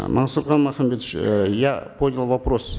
мансурхан махамбетович э я понял вопрос